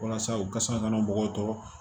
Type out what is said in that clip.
Walasa u ka se ka na mɔgɔw tɔɔrɔ